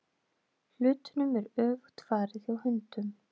Hlutunum er öfugt farið hjá hundum.